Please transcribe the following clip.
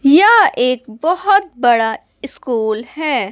यह एक बहोत बड़ा स्कूल हैं।